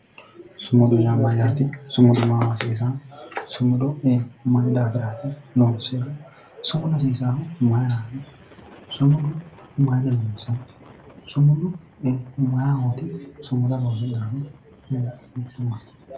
Sumudi yaa mayyate sumudu maaho hasiisanno sumuda maaho hasiisaeo mayi daafira loonsonni sumuda Mayra horoonsi'nay